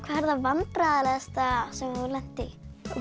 er það vandræðalegasta sem þú hefur lent í